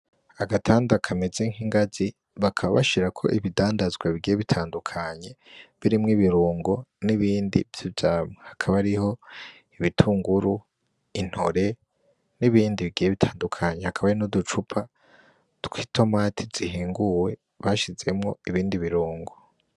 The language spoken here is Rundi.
Agatanda kameze nk'ingazi bakaba bashirako ibidandazwa bigiye bitandukanye birimwo ibirungo n'ibindi vy'ivyamwa akaba ari ; ibitunguru ,intore, n'ibindi bigiye bitandukanye hakaba hari n'uducupa tw'itomati zihinguwe bashizemwo ibindi birungo.